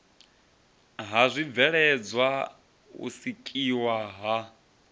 ha zwibveledzwa u sikiwa ha